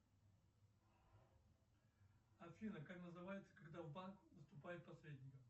афина как называется когда в банк поступает посредник